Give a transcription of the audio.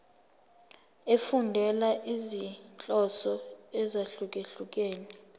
efundela izinhloso ezahlukehlukene